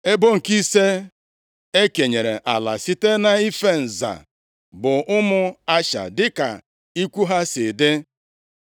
Ebo nke ise e kenyere ala site nʼife nza bụ ụmụ Asha dịka ikwu ha si dị.